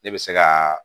Ne bɛ se ka